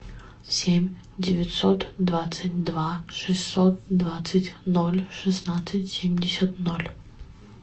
семь девятьсот двадцать два шестьсот двадцать ноль шестнадцать семьдесят ноль